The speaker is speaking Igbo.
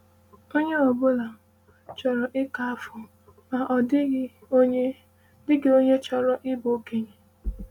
“Onye ọ bụla chọrọ ịka afọ, ma ọ dịghị onye dịghị onye chọrọ ịbụ okenye.”